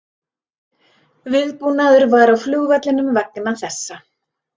Viðbúnaður var á flugvellinum vegna þessa